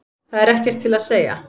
Það er ekkert til að segja.